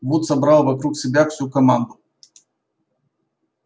вуд собрал вокруг себя всю команду